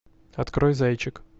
открой зайчик